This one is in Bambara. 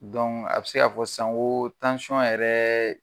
a bɛ se ka fɔ san koo yɛrɛ